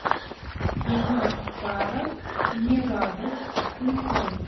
кино старость не радость включай